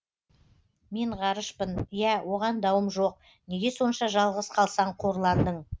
мен ғарышпын ия оған дауым жоқ неге сонша жалғыз қалсаң қорландың